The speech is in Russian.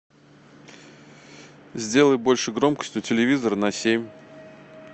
сделай больше громкость у телевизора на семь